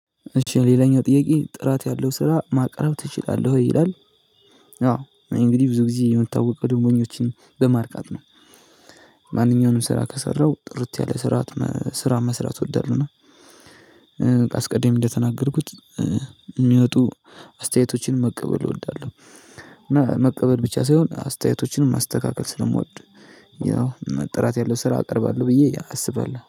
እሺ ሌላኛው ጥያቄ? ጥራት ያለው ስራ ማቅረብ ትችላለህ ወይ? ይላል አዎ እንግዲህ ብዙ ጊዜ የምታውቀው ደግሞ እኛዎችን በማርካት ነው። ማንኛውንም ስራ ከሰራው ጥርት ያለ ስራ ስራ መስራት እወዳለሁና አስቀድሜ እንደተናገርኩት የሚወጡ አስተያየቶችን መቀበል እወዳለሁ። እና መቀበል ብቻ ሳይሆን አስተያየቶችንም ማስተካከል ስለምወድ ጥራት ያለው ስራ አቀርባለሁ። ብዬ አስባለሁ